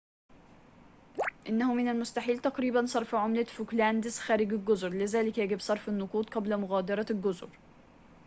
إنه من المستحيل تقريباً صرف عملة فوكلاندس خارج الجزر لذلك يجب صرف النقود قبل مغادرة الجزر